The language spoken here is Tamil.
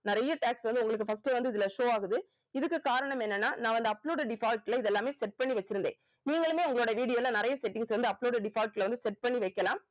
நறைய tax வந்து உங்களுக்கு first வந்து இதுல show ஆகுது இதுக்கு காரணம் என்னன்னா நான் வந்து uploaded default ல இதெல்லாமே set பண்ணி வெச்சிருந்தேன் நீங்களுமே உங்க video ல நிறைய settings வந்து uploaded default ல set பண்ணி வைக்கலாம